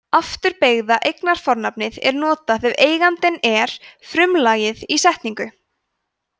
afturbeygða eignarfornafnið er notað ef eigandinn er frumlagið í setningu